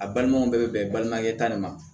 A balimaw bɛɛ bɛ bɛn balimakɛ ta de ma